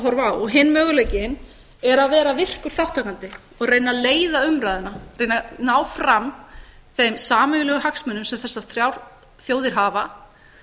horfa á hinn möguleikinn er að vera virkur þátttakandi og reyna að leiða umræðuna reyna að ná fram þeim sameiginlegu hagsmunum sem þessar þrjár þjóðir hafa